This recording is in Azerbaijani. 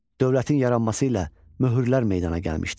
Dövlətin yaranması ilə möhürlər meydana gəlmişdi.